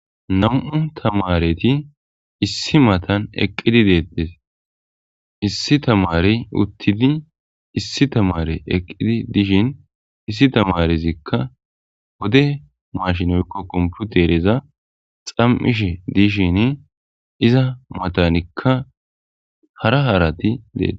Nam'u tamareti issi matan eqqidi deettes. Issi tamare uttidi issi tamare ,eqqidi dishin issi tamarezikka wode mashinoykko komputereza xam'ish dishin iza matanikka hara harati dees.